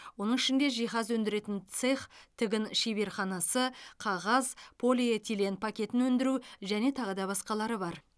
оның ішінде жиһаз өндіретін цех тігін шеберханасы қағаз полиэтилен пакетін өндіру және тағы да басқалары бар